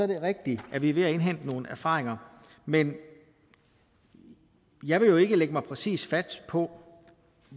det rigtigt at vi er ved at indhente nogle erfaringer men jeg vil jo ikke lægge mig præcis fast på